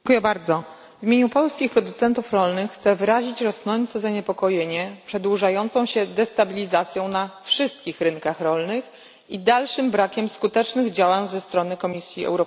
W imieniu polskich producentów rolnych chcę wyrazić rosnące zaniepokojenie przedłużającą się destabilizacją na wszystkich rynkach rolnych i dalszym brakiem skutecznych działań ze strony Komisji Europejskiej.